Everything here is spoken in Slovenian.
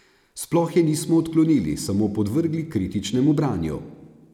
Sploh je nismo odklonili, samo podvrgli kritičnemu branju.